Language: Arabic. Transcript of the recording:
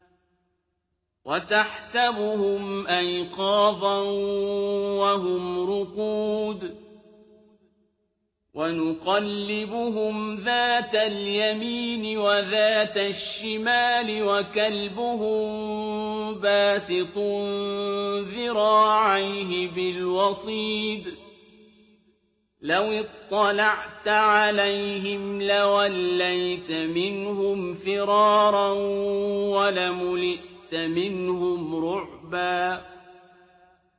وَتَحْسَبُهُمْ أَيْقَاظًا وَهُمْ رُقُودٌ ۚ وَنُقَلِّبُهُمْ ذَاتَ الْيَمِينِ وَذَاتَ الشِّمَالِ ۖ وَكَلْبُهُم بَاسِطٌ ذِرَاعَيْهِ بِالْوَصِيدِ ۚ لَوِ اطَّلَعْتَ عَلَيْهِمْ لَوَلَّيْتَ مِنْهُمْ فِرَارًا وَلَمُلِئْتَ مِنْهُمْ رُعْبًا